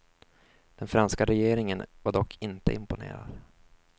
Den franska regeringen var dock inte imponerad.